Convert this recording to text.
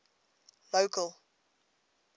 local